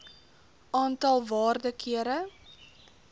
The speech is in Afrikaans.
aantal waarde kere